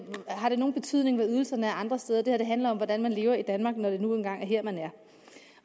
har nogen betydning hvad ydelserne er andre steder det her handler om hvordan man lever i danmark når det nu engang er her man er